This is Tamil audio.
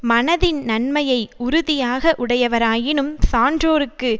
மனதின் நன்மையை உறுதியாக உடையவராயினும் சான்றோர்க்கு